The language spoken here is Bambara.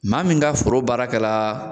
Maa min ka foro baarakɛ la